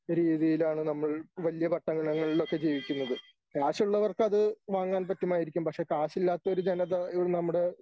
രീതിയിലാണ് നമ്മൾ വലിയ പട്ടണങ്ങളിൽ ഒക്കെ ജീവിക്കുന്നത്. കാശുള്ളവർക്കത് വാങ്ങാൻ പറ്റുമായിരിക്കും പക്ഷേ കാശില്ലാത്ത ഒരു ജനത ഇവിടെ നമ്മുടെ